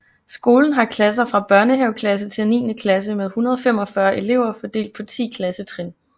Skolen har klasser fra børnehaveklasse til niende klasse med 145 elever fordelt på 10 klassetrin